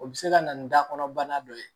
O bɛ se ka na ni da kɔnɔ bana dɔ ye